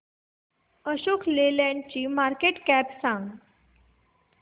अशोक लेलँड ची market cap सांगा